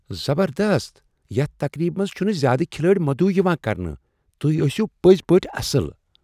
زبردست! یتھ تقریبہ منٛز چھنہٕ زیادٕ کھلٲڑۍ مدعو یوان کرنہٕ۔ تُہۍ ٲسیو پٔزۍ پٲٹھۍ اصل ۔